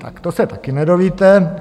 Tak to se taky nedovíte.